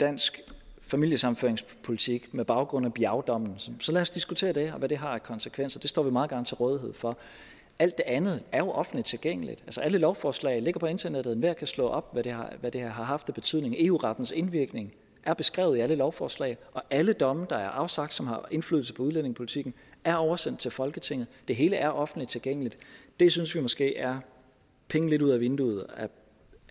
dansk familiesammenføringspolitik på baggrund af biao dommen så lad os diskutere det og hvad det har konsekvenser det står vi meget gerne til rådighed for alt det andet er jo offentligt tilgængeligt altså alle lovforslag ligger på internettet enhver kan slå op hvad det har haft af betydning eu rettens indvirkning er beskrevet i alle lovforslag og alle domme der er afsagt og som har indflydelse på udlændingepolitikken er oversendt til folketinget det hele er offentligt tilgængeligt og det synes vi måske er penge lidt ud af vinduet